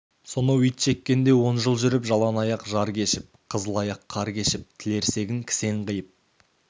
соноу итжеккенде он жыл жүріп жалаң аяқ жар кешіп қызыл аяқ қар кешіп тілерсегін кісен қиып